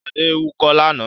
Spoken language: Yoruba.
Ṣadé ń wúkọ́ lánàá.